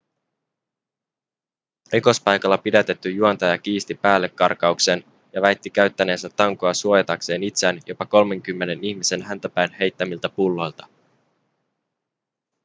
rikospaikalla pidätetty juontaja kiisti päällekarkauksen ja väitti käyttäneensä tankoa suojatakseen itseään jopa kolmenkymmenen ihmisen häntä päin heittämiltä pulloilta